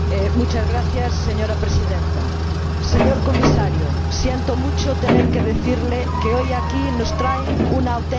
Señora Presidenta, Señor Comisario, siento mucho tener que decirle que hoy aquí nos traen una auténtica farsa.